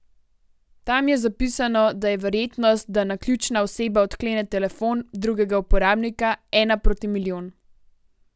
Tam je zapisano, da je verjetnost, da naključna oseba odklene telefon drugega uporabnika ena proti milijon.